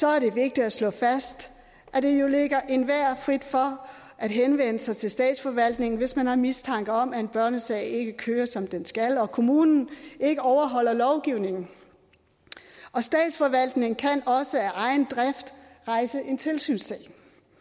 er det vigtigt at slå fast at det jo ligger enhver frit for at henvende sig til statsforvaltningen hvis man har mistanke om at en børnesag ikke kører som den skal og at kommunen ikke overholder lovgivningen statsforvaltningen kan også af egen drift rejse en tilsynssag